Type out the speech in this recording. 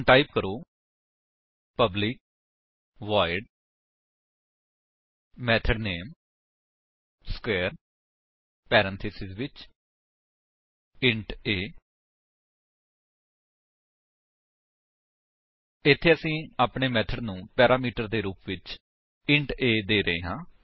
ਹੁਣ ਟਾਈਪ ਕਰੋ public void method name square parenthesis ਵਿੱਚ ਇੰਟ a ਇੱਥੇ ਅਸੀ ਆਪਣੇ ਮੇਥਡ ਨੂੰ ਪੈਰਾਮੀਟਰ ਦੇ ਰੁਪ ਵਿੱਚ ਇੰਟ a ਦੇ ਰਹੇ ਹਾਂ